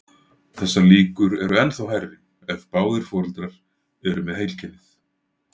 Þessar líkur eru ennþá hærri ef báðir foreldrar eru með heilkennið.